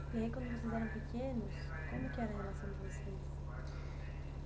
E aí quando vocês eram pequenos, como que era a relação de vocês?